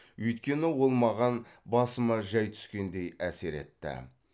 өйткені ол маған басыма жай түскендей әсер етті